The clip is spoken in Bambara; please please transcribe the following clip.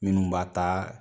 Minnu b'a ta